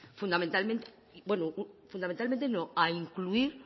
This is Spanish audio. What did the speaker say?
fundamentalmente bueno fundamentalmente no a incluir